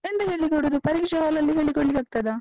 ಎಂತ ಹೇಳಿಕೊಡುದು? ಪರೀಕ್ಷೆ hall ಅಲ್ಲಿ ಹೇಳಿ ಕೊಡ್ಲಿಕ್ಕಾಗ್ತದಾ?